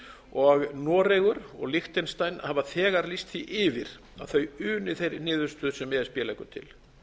og noregur og liechtenstein hafa þegar lýst því yfir að þau uni þeirri niðurstöðu sem e s b leggur til